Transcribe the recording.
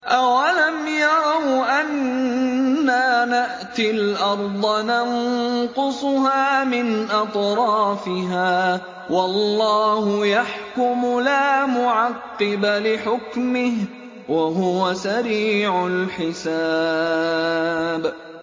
أَوَلَمْ يَرَوْا أَنَّا نَأْتِي الْأَرْضَ نَنقُصُهَا مِنْ أَطْرَافِهَا ۚ وَاللَّهُ يَحْكُمُ لَا مُعَقِّبَ لِحُكْمِهِ ۚ وَهُوَ سَرِيعُ الْحِسَابِ